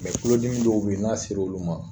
Mɛ kulodimi dɔw be ye n'a sera olu ma